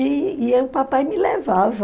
E e papai me levava.